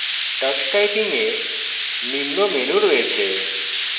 tux typing এ নিম্ন menus রয়েছে